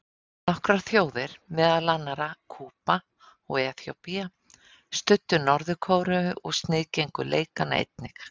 Nokkrar þjóðir, meðal annarra Kúba og Eþíópía, studdu Norður-Kóreu og sniðgengu leikana einnig.